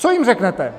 Co jim řeknete?